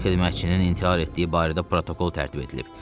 Xidmətçinin intihar etdiyi barədə protokol tərtib edilib.